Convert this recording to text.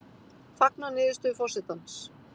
Fagna niðurstöðu forsetans